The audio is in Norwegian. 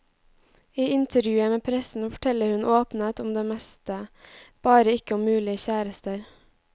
I intervjuet med pressen forteller hun åpnet om det meste, bare ikke om mulige kjærester.